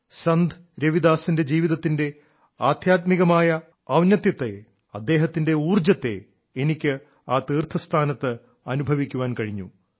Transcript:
സന്ത് രവിദാസിന്റെ ജീവിതത്തിന്റെ ആദ്ധ്യാത്മികമായ ഔന്നത്യത്തെ അദ്ദേഹത്തിന്റെ ഊർജ്ജത്തെ എനിക്ക് ആ തീർത്ഥ സ്ഥാനത്ത് അനുഭവിക്കാൻ കഴിഞ്ഞു